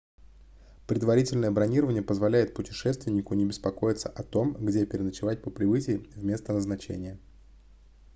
предварительное бронирование позволяет путешественнику не беспокоиться о том где переночевать по прибытии в место назначения